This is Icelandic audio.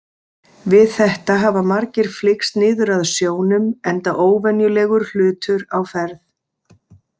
Við þetta hafa margir flykkst niður að sjónum enda óvenjulegur hlutur á ferð.